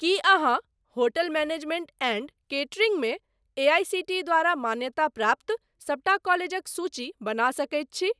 की अहाँ hotel management and catering मे AICTE द्वारा मान्यताप्राप्त सबटा कॉलेजक सूची बना सकैत छी?